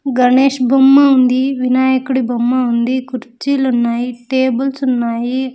గణేష్ బొమ్మ ఉంది వినాయకుడి బొమ్మ ఉంది కుర్చీలు ఉన్నాయి టేబుల్స్ ఉన్నాయి.